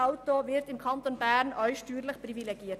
Steuerlich wird er im Kanton Bern ebenfalls privilegiert.